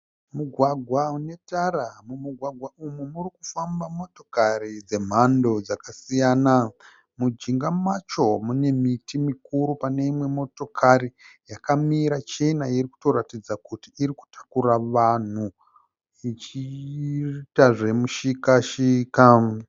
Mugwagwa une tara. Mumugwagwa umu murikufamba motokari dzemhando dzakasiyana. Mujinga macho mune miti mikuru. Pane imwe motokari yakamira chena irikutoratidza kuti iri kutakura vanhu ichiita zvemu shika -shika.